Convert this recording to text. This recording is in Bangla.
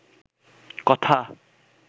কথা